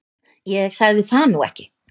Ég sagði það nú ekki